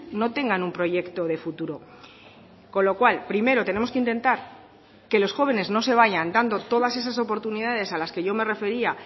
no tengan un proyecto de futuro con lo cual primero tenemos que intentar que los jóvenes no se vayan dando todas esas oportunidades a las que yo me refería